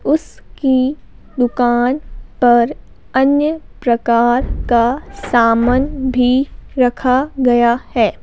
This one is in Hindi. उसकी दुकान पर अन्य प्रकार का सामन भी रखा गया है।